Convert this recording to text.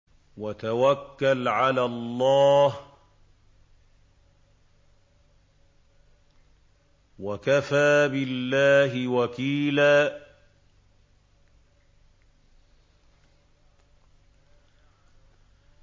وَتَوَكَّلْ عَلَى اللَّهِ ۚ وَكَفَىٰ بِاللَّهِ وَكِيلًا